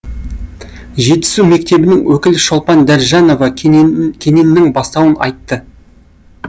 жетісу мектебінің өкілі шолпан дәржанова кененнің бастауын айтты